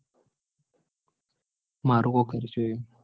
મારુ કોક